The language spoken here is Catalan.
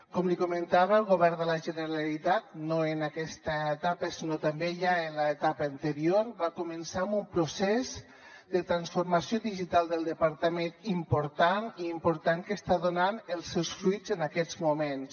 com li comentava el govern de la generalitat no en aquesta etapa sinó també ja en l’etapa anterior va començar amb un procés de transformació digital del departament important que està donant els seus fruits en aquests moments